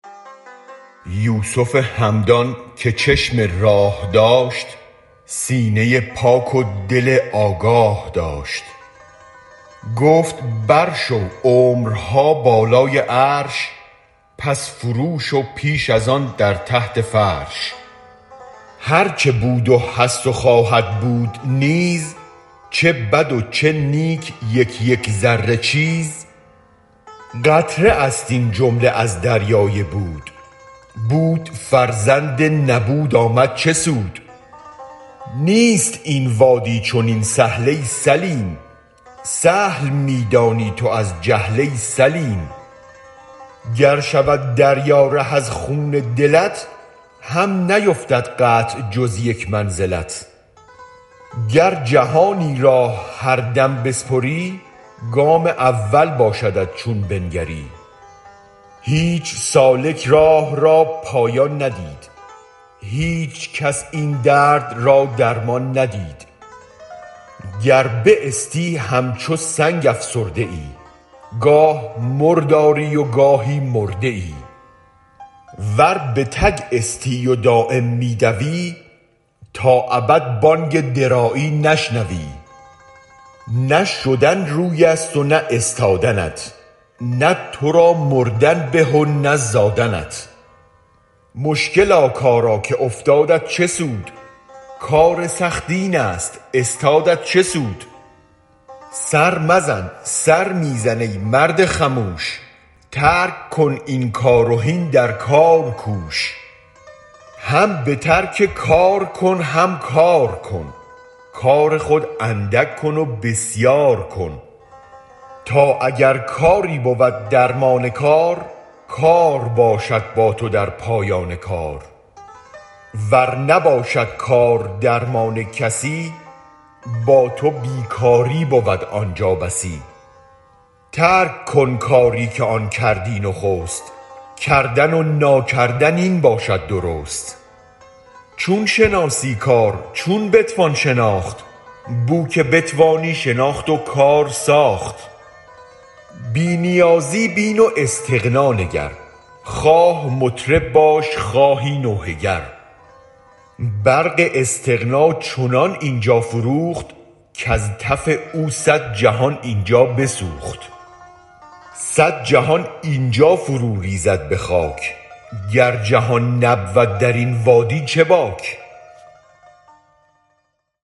یوسف همدان که چشم راه داشت سینه پاک و دل آگاه داشت گفت بر شو عمرها بالای عرش پس فرو شو پیش از آن در تحت فرش هرچ بود و هست و خواهد بود نیز چه بدو چه نیک یک یک ذره چیز قطره است این جمله از دریای بود بود فرزند نبود آمد چه سود نیست این وادی چنین سهل ای سلیم سهل می دانی تو از جهل ای سلیم گر شود دریا ره از خون دلت هم نیفتد قطع جز یک منزلت گر جهانی راه هر دم بسپری گام اول باشدت چون بنگری هیچ سالک راه را پایان ندید هیچ کس این درد را درمان ندید گر باستی همچو سنگ افسرده ای گه مرداری وگاهی مرده ای ور به تگ استی و دایم می دوی تا ابد بانگ درایی نشنوی نه شدن رویست و نه استادنت نه ترا مردن به و نه زادنت مشکلا کارا که افتادت چه سود کار سخت اینست استادت چه سود سر مزن سر می زن ای مرد خموش ترک کن این کار و هین در کار کوش هم بترک کار کن هم کارکن کار خود اندک کن وبسیارکن تا اگر کاری بود درمان کار کار باشد با تو در پایان کار ور نباشد کار درمان کسی با تو بی کاری بود آنجا بسی ترک کن کاری که آن کردی نخست کردن و ناکردن این باشد درست چون شناسی کار چون بتوان شناخت بوک بتوانی شناخت و کار ساخت بی نیازی بین و استغنا نگر خواه مطرب باش خواهی نوحه گر برق استغنا چنان اینجا فروخت کز تف او صد جهان اینجا بسوخت صد جهان اینجا فرو ریزد به خاک گر جهان نبود درین وادی چه باک